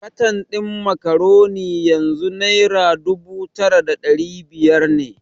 Katan din Macaroni yanzu Naira dubu tara da dari biyar ne.